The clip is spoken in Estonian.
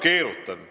Keerutan?